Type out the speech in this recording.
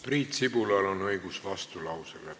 Priit Sibulal on õigus vastulause esitada.